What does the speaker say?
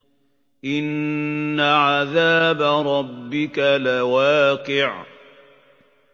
إِنَّ عَذَابَ رَبِّكَ لَوَاقِعٌ